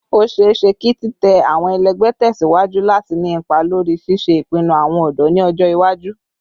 O ṣeeṣe ki titẹ awọn ẹlẹgbẹ tẹsiwaju lati ni ipa lori ṣiṣe ipinnu awọn ọdọ ni ọjọ iwaju